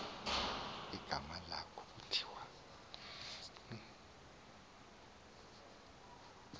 igama lalo kuthiwa